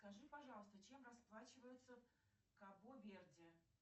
скажи пожалуйста чем расплачиваются в кабо верде